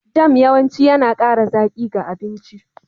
Jam yawanci yana ƙara zaƙi ga abinci.